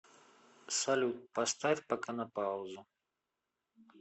салют поставь пока на паузу